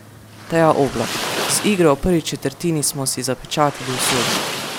Teja Oblak: "Z igro v prvi četrtini smo si zapečatili usodo.